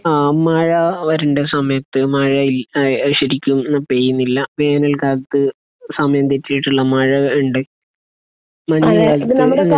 ആഹ്. മഴ വരണ്ട സമയത്ത് മഴ ഇ ശരിക്കും പെയ്യുന്നില്ല. വേനൽ കാലത്ത് സമയം തെറ്റിയിട്ടുള്ള മഴ ഉണ്ട്. മഞ്ഞ് കാലത്ത്